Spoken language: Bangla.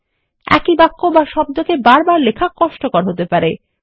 একই বাক্য বা শব্দকেবার বারলেখা কষ্টকর হতে পারে